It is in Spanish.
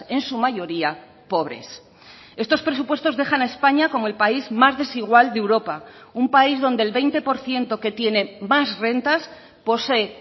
en su mayoría pobres estos presupuestos dejan a españa como el país más desigual de europa un país donde el veinte por ciento que tiene más rentas posee